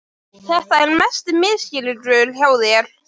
Þetta er mesti misskilningur hjá þér!